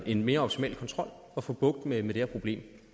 en mere optimal kontrol at få bugt med det her problem